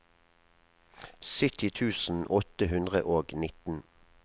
sytti tusen åtte hundre og nitten